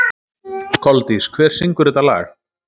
Koldís, hver syngur þetta lag?